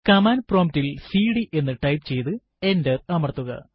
command prompt ൽ cd എന്ന് type ചെയ്തു എന്റർ അമർത്തുക